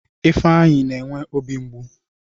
Ifeanyi na-enwe obi mgbu